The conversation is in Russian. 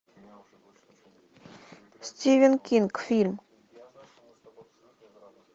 стивен кинг фильм